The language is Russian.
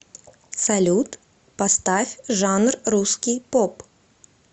салют поставь жанр русский поп